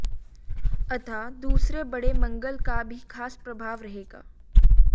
अतः दूसरे बड़े मंगल का भी खास प्रभाव रहेगा